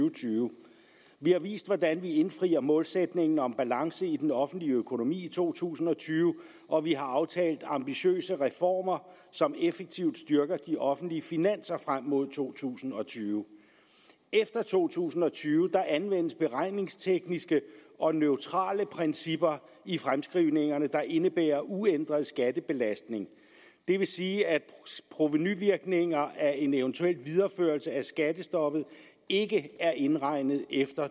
og tyve vi har vist hvordan vi indfrier målsætningen om balance i den offentlige økonomi i to tusind og tyve og vi har aftalt ambitiøse reformer som effektivt styrker de offentlige finanser frem mod to tusind og tyve efter to tusind og tyve anvendes beregningstekniske og neutrale principper i fremskrivningerne der indebærer uændret skattebelastning det vil sige at provenuvirkninger af en eventuel videreførelse af skattestoppet ikke er indregnet efter